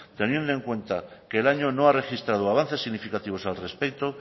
teniendo en cuenta que el año no ha registrado avances significativos al respecto